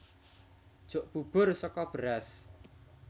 Jok bubur saka beras